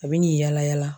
A bɛ n'i yala yala